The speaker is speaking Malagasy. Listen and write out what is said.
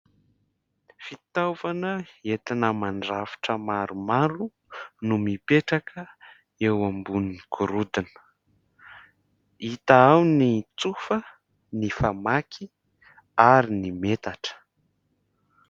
Fitaovana entina mandrafitra maromaro no mipetraka eo ambonin'ny gorodona, hita ao ny tsofa, ny famaky ary ny metatra.